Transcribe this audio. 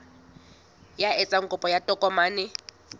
ya etsang kopo ya tokomane